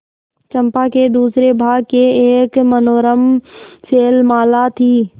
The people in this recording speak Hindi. चंपा के दूसरे भाग में एक मनोरम शैलमाला थी